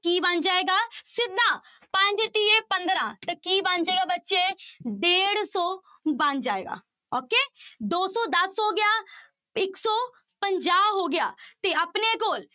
ਕੀ ਬਣ ਜਾਏਗਾ ਸਿੱਧਾ ਪੰਜ ਤੀਏ ਪੰਦਰਾਂ, ਤਾਂ ਕੀ ਬਣ ਜਾਏਗਾ ਬੱਚੇ, ਡੇਢ ਸੌ ਬਣ ਜਾਏਗਾ okay ਦੋ ਸੌ ਦਸ ਹੋ ਗਿਆ ਇੱਕ ਸੌ ਪੰਜਾਹ ਹੋ ਗਿਆ ਤੇ ਆਪਣੇ ਕੋਲ